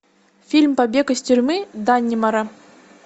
фильм побег из тюрьмы даннемора